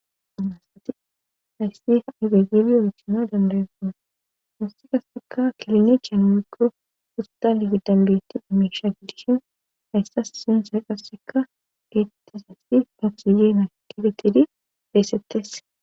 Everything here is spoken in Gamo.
Anaasati hayssi afegili oytima dambarefana hassi qasseka kelnechiyan migo ustalig dambeyetti amesha giddishin hayssas sinse qasseka etes haysi pabsiyeena kifetidi beessettesse